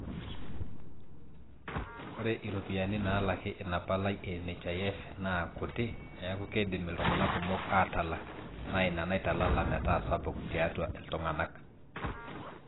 ore iropiyiani naalaki ina palai e nhif naa kuti neeku keidim iltung'anak kumok aatalak naaina naitalala metaa sapuk tiatwa iltung'anak